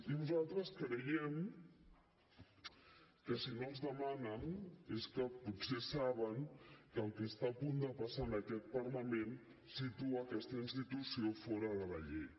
i nosaltres creiem que si no els demanen és que potser saben que el que està a punt de passar en aquest parlament situa aquesta institució fora de la llei